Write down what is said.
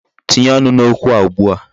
Tinye ọnụ n'okwu a ugbu a.